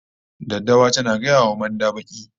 Daddawa tana gaya wa manda baki